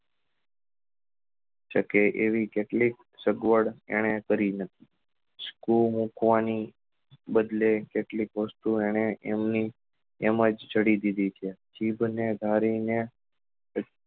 સકે એવી કેટલીક સગવડ એને કરી નથી મુકવા ની બદલે કેટલીક વસ્તુ એને એમની એમ જ જડી દીધી છે જીભ ને કાઢી